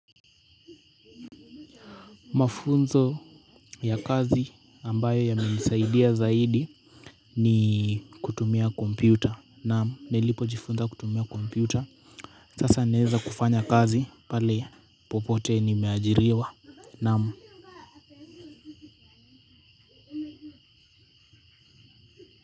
Mafunzo ya kazi, ambayo yamenisaidia zaidi ni kutumia kompyuta, naam nilipo jifunza kutumia kompyuta, sasa naweza kufanya kazi pahali popote nimeajiriwa, naam.